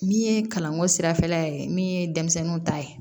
Min ye kalanko sirafɛla ye min ye denmisɛnninw ta ye